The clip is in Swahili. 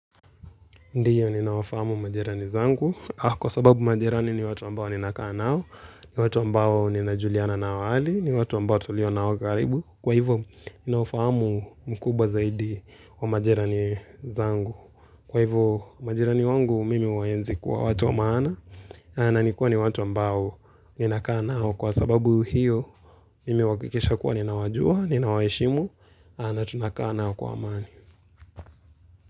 Ndiyo, ninaofahamu majerani zangu. Kwa sababu majerani ni watu ambao ninakaa nao, ni watu ambao ninajuliana nao hali, ni watu ambao tulio nao karibu. Kwa hivyo, ninaofahamu mkubwa zaidi wa majerani zangu. Kwa hivyo, majerani wangu mimi uwaenzi kuwa watu wa maana, na nikua ni watu ambao ninakaa nao. Kwa sababu hiyo, mimi uwakikisha kuwa ninawajua, ninawaeshimu, na tunakaa nao kwa maani.